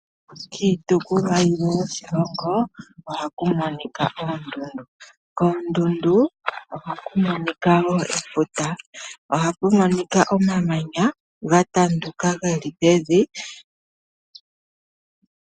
Kiitukulwa yimwe yoshilongo ohakumonika oondundu. Koondundu oha ku monika woo efuta, nomamanya gatanduka ge li pevi.